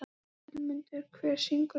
Vilmundur, hver syngur þetta lag?